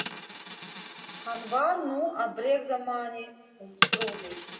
Hann var nú að bregða manni um trúleysi.